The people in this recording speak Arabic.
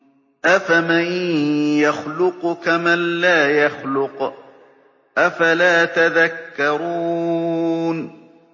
أَفَمَن يَخْلُقُ كَمَن لَّا يَخْلُقُ ۗ أَفَلَا تَذَكَّرُونَ